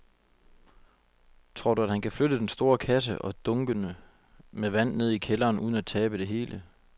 Tror du, at han kan flytte den store kasse og dunkene med vand ned i kælderen uden at tabe det hele?